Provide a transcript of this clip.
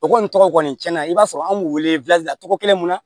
O kɔni tɔgɔ kɔni cɛn na i b'a sɔrɔ an b'u wele togo kelen mun na